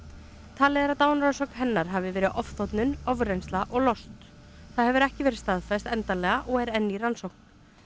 talið er að dánarorsök hennar hafi verið ofþornun ofreynsla og lost það hefur ekki verið staðfest endanlega og er enn í rannsókn